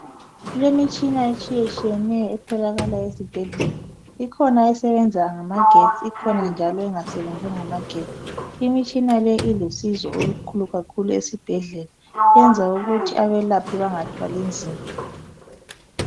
Kulemitshina etshiyetshiyeneyo etholakala ezibhedlela. Ikhona esebenza ngamagetsi, ikhona njalo engasebenzi ngamagetsi. Imitshina le ilusizo olukhulu kakhulu esibhedlela. Yenza ukuthi abelaphi bengathwali mzima.